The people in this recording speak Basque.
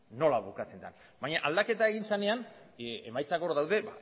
nola bukatzen den baina aldaketa egin zenean emaitzak hor daude